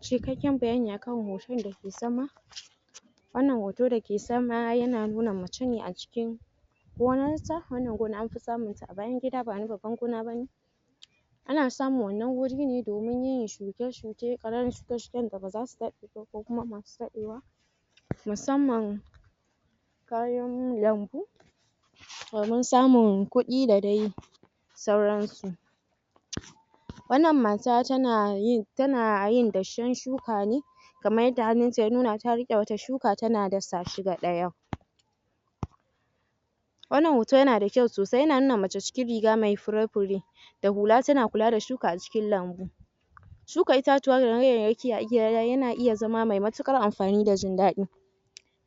Cikkaken bayani akan hoton da ke sama Wannan hoto dake sama yana nuna mace ne a cikin Wannan gona an fi samun ta a bayan gida ba wani babba gona bane Ana samun wannan wuri ne domin yin shuke shuke, ƙananan shuke shuke da baza su daɗe ba ko kuma Masu daɗewa musamman Kayan lambu Domin samun kuɗi da dai sauran su Wannan mata tana yin...tana yin dashen shuka ne Kaman yadda hannun ta ya nuna ta rike wata shuka tana dasa shi gaɗeyau Wannan hoto yana da kyau sosai, yana nuna mace cikin riga mai fure fure da hula ta kula da shuka a cikin lambu Shuka itatuwa yana iya zama mai mutuƙar amfani da jin daɗi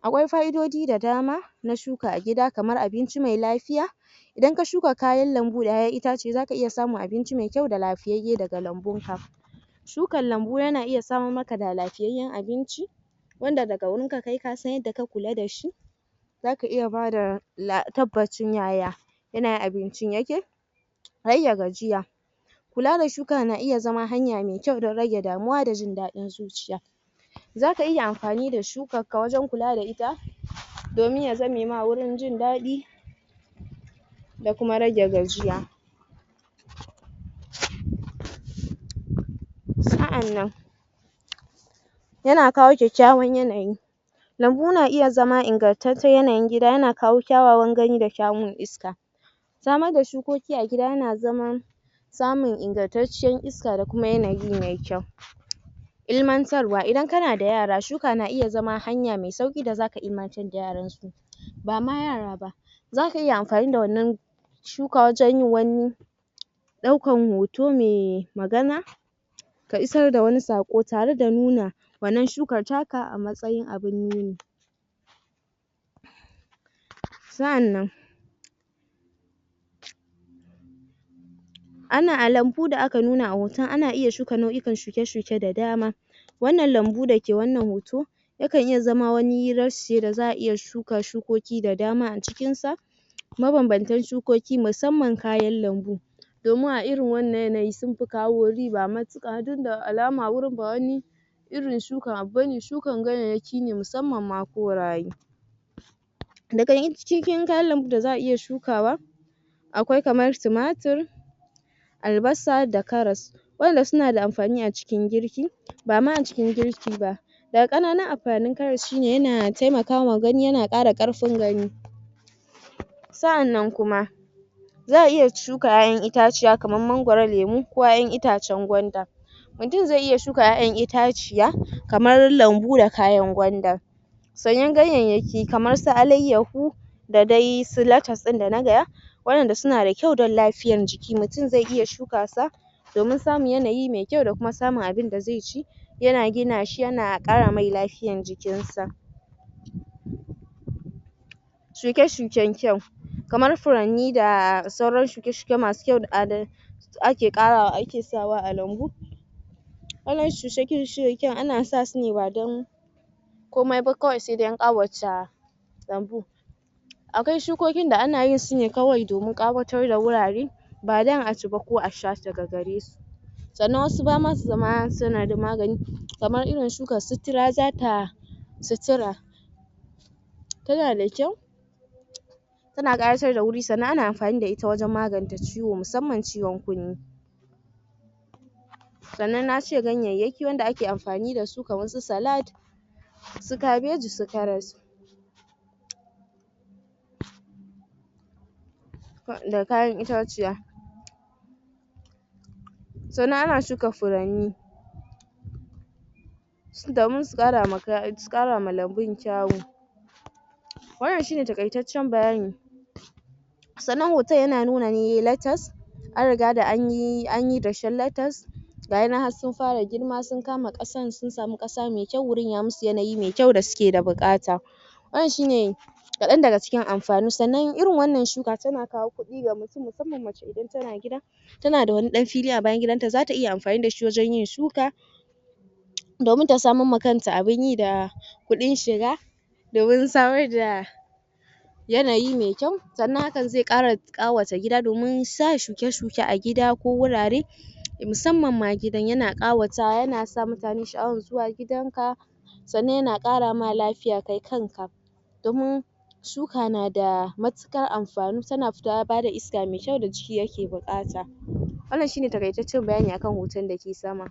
Akwai ka'idodi da dama na shuka a gida kamar abinci mai lafiya Idan ka shuka kayan lambu da 'ya'yan itace za ka iya samun abinci mai kyau da lafiyayye daga lambun ka Shukan lambu yana iya saman maka da lafiyayen abinci Wanda daga wurinka kai ka san yadda ka kula da shi Zaka iya bada tabbas ɗin yaya Yanayin abincin yake Kula da shuka na iya zama hanya mai kyau don rage damuwa da jin daɗin zuciya Zaka iya amfanin da shukka ka wajen kula da ita Domin ya za me ma wurin jin daɗi Da kuma rage gajiya Sa'annan Yana kawo kyakyawan yanayi Lambu na iya zama ingartaccen yanayi gida, yana kawo kyawawan gani da shayar da iska Samar da shukoki a gida yana zaman Samun ingartaciyan iska da kuma yanayi mai kyau Ilmantarwa, idan kana da yara shuka na iya zama hanya mai sauƙi da za ka ilmancen da yaran su Ba ma yara ba zaka iya amfani da wannan shuka wajen yin wani Ɗaukan hoto mai magana Ka isar da wani sako tare da nuna wannan shukar ta ka a matsayin abun yi Sa'annan Ana...a lambu da aka nuna a hoton ana iya shuka nau'ikan shuke shuke da dama Wannan lambu da ke wannan hoto Yakan zama wani rashi da za'a iya shuka shukoki da dama a cikin sa Ma banbantan sukoki musamman kayan lambu Domin a irin wannan yanayi sun fi kawo riba mutuƙa duk da alama ba wani Irin shukan abu bane, shukan ganyayyaki ne musamman makoraye Daga cikin kayan lambu da za'a iya shukawa Akwai kamar tumatur Albasa da karas Waɗannan suna da amfani a cikin girki, ba ma a cikin girki ba Ƙananun amfanin karas shi ne, yana taimaka wa gani, yana Ƙara Ƙarfin gani Sa'annan kuma Za'a iya shuka 'ya'yan itaciya kamar mangoro, lemu ko 'ya'yan itacen gwanda Mutum zai iya shuka 'ya'yan itaciya kamar lambu da kayan gwanda Sanyan ganyayaki kamar su alaiyahu Da dai su lettus ɗin da na gaya Waɗanda su na da kyau don lafiyar jiki, mutum zai iya shuka sa Domin samin yanayi mai kyau da kuma samin abinda zai ci Yana gina shi yana ƙara mai lafiyan jikin sa Shuke shuken kyau, kamar furanni da sauran shuke shuke masu kyau Ake ƙarawa...ake sa wa a lambu Wannan shuke shuken ana sa su ne ba dan komai ba kawai sai dai ƙawace lambu Akwai shukukokin da ana yin su ne kawai domin ƙawatar da wurare Ba dan a ci ba ko a sha daga gare su Sannan wasu ba ma su zama suna da magani, kamar irin shukar sutura zata... Sutura Tana da kyau Tana ƙaratar da wuri sannan ana amfani da ita wajen magani ta ciwo musamman ciwon kunne Sannan na ce ganyayaki wanda ake amfani da su kamar su salad Su cabbaji su karas Da kayan itaciya Sannan ana shuka furanni Domin su ƙarama lambun kyawu Wannan shi ne takaitaccen labari Sannan hoton yana nuna ne lettus An riga duk anyi...anyi dashen lettus Gayanan har sun fara girma sun kama ƙasan sun samu ƙasa mai kyau, yayi masu yanayi mai kyau da su ke da buƙata Wannan shi ne Kaɗan daga cikin amfanin sa, sannan irin wannan shuka tana kawo kuɗi ga mutum masamman mace idan tana gida Tana da wani ɗan fili a bayan gidan ta, za ta iya amfani da shi wajen yin shuka Domin ta saman ma kanta abun yi da Kuɗin shira da wurin samar da Yanayi mai kyau sannan hakan zai ƙara ƙawata gida domin sa shuke shuke a gida ko wurare Musamman ma gidan yana ƙawata, yana sa mutane sha'awan zuwa gidan ka Sannan yana ƙara ma lafiya kai kan ka Domin shuka na da mutuƙar amfani, tana bada iska mai kyau da jiki yake buƙata. Wannan shi ne takaitaccen bayani akan hoton da ke sama.